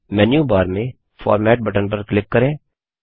menu bar में format button पर click करें